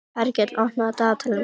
Hergill, opnaðu dagatalið mitt.